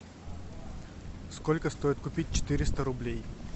сколько стоит купить четыреста рублей